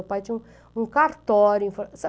O pai tinha um um cartório.